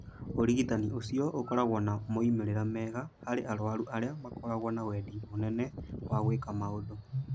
Ũrigitani ũcio ũkoragwo na moimĩrĩro mega harĩ arũaru arĩa makoragwo na wendi mũnene wa gwĩka maũndũ.